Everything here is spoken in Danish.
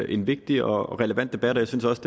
en vigtig og relevant debat og jeg synes også